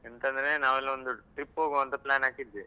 ಎಂತಂದ್ರೆ, ನಾವೆಲ್ಲಾ ಒಂದು trip ಹೋಗುವ ಅಂತ plan ಹಾಕಿದ್ವಿ.